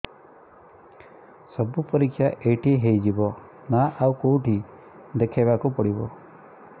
ସବୁ ପରୀକ୍ଷା ଏଇଠି ହେଇଯିବ ନା ଆଉ କଉଠି ଦେଖେଇ ବାକୁ ପଡ଼ିବ